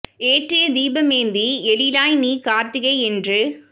ஏற்றிய தீபமேந்தி எழிலாய் நீ கார்த்திகையன்று